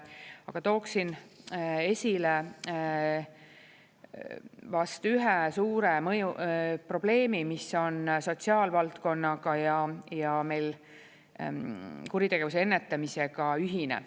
Aga tooksin esile vast ühe suure probleemi, mis on sotsiaalvaldkonnaga ja meil kuritegevuse ennetamisega ühine.